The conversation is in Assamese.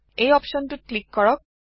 এই অপচনটোত ক্লীক কৰক